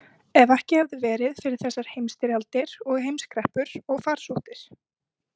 Ef ekki hefði verið fyrir þessar heimsstyrjaldir og heimskreppur og farsóttir.